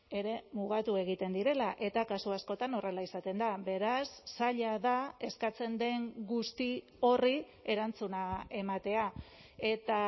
ere mugatu egiten direla eta kasu askotan horrela izaten da beraz zaila da eskatzen den guzti horri erantzuna ematea eta